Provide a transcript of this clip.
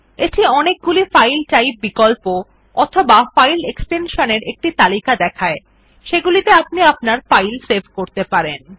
এটি অনেকগুলি file type বিকল্প অথবা ফাইল এক্সটেনশন একটি তালিকা দেখায় যেগুলিতে আপনি আপনার ফাইল সেভ করতে পারেন